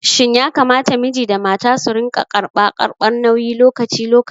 Shin yakamata miji da mata su rinƙa karɓa karɓar nauyi lokaci lokaci?